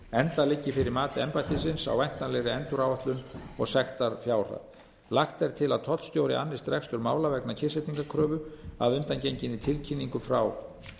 enda liggi fyrir mat embættisins á væntanlegri enduráætlun og sektarfjárhæð lagt er til að tollstjóri annist rekstur mála vegna kyrrsetningarkröfu að undangenginni tilkynningu frá